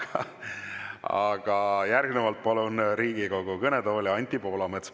Aga järgnevalt palun Riigikogu kõnetooli Anti Poolametsa.